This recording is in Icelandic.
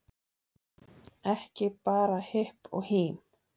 Ekki bara hipp og hím